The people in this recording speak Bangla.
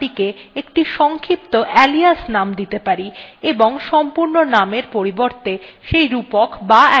in জন্য আমরা কমান্ডকে একটি সংক্ষিপ্ত alias name দিতে পারি এবং সম্পূর্ণ নামের পরিবর্তে সেই রূপক বা alias name ব্যবহার করতে পারি